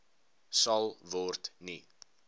sal word nie